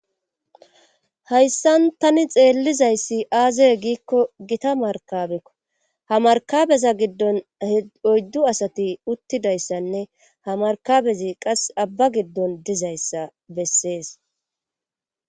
Hayssan tani xeellizayssi aazee giikko gita markabekko ha markabeza giddon oyddu asati uttidayssanne ha markabezi qas abba giddon dizayssa bessees